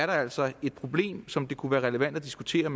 der altså er et problem som det kunne være relevant at diskutere